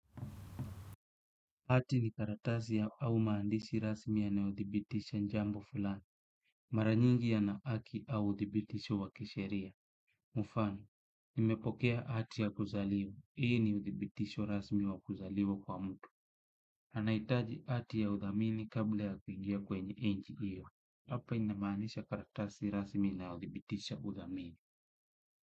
Hati ni karatasi au maandishi rasmi yanayodhibitisha jambo fulani. Mara nyingi yana haki au udhibitisho wa kisheria. Mfano nimepokea hati ya kuzaliwa hii ni udhibitisho rasmi wa kuzaliwa kwa mtu. Anahitaji hati ya udhamini kabla ya kuingia kwenye nchi hiyo. Hapa inamaandisha karatasi rasmi inayodhibitisha udhamini.